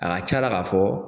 A ga c'a la k'a fɔ